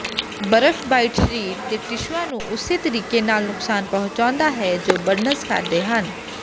ਬਰਫ਼ਬਾਈਟ ਸਰੀਰ ਦੇ ਟਿਸ਼ੂਆਂ ਨੂੰ ਉਸੇ ਤਰੀਕੇ ਨਾਲ ਨੁਕਸਾਨ ਪਹੁੰਚਾਉਂਦਾ ਹੈ ਜੋ ਬਰਨਜ਼ ਕਰਦੇ ਹਨ